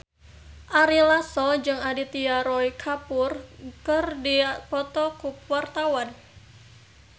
Ari Lasso jeung Aditya Roy Kapoor keur dipoto ku wartawan